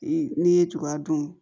Ee n'i ye tugu a don